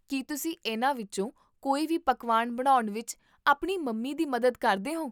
ਕੀ ਤੁਸੀਂ ਇਹਨਾਂ ਵਿੱਚੋਂ ਕੋਈ ਵੀ ਪਕਵਾਨ ਬਣਾਉਣ ਵਿੱਚ ਆਪਣੀ ਮੰਮੀ ਦੀ ਮਦਦ ਕਰਦੇ ਹੋ?